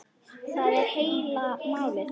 Það er heila málið.